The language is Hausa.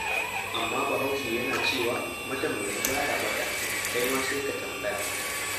Amma Bahaushe yana cewa matambayi ba ya ɓata, kai ma sai ka tambaya.